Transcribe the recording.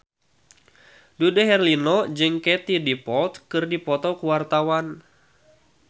Dude Herlino jeung Katie Dippold keur dipoto ku wartawan